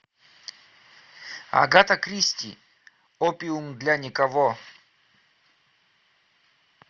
агата кристи опиум для никого